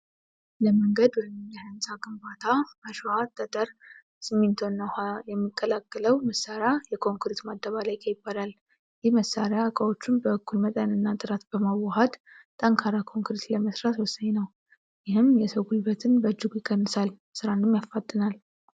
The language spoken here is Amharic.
ለመንገድ ወይም ለሕንፃ ግንባታ አሸዋ፣ ጠጠር፣ ሲሚንቶና ውሃ የሚቀላቅለው መሳሪያ የኮንክሪት ማደባለቂያ ይባላል። ይህ መሳሪያ እቃዎቹን በእኩል መጠንና ጥራት በማዋሃድ ጠንካራ ኮንክሪት ለመሥራት ወሳኝ ነው። ይህም የሰው ጉልበትን በእጅጉ ይቀንሳል፣ ሥራንም ያፋጥናል።